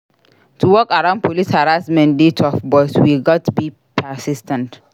To work around police harassment dey tough but we gats be persis ten t.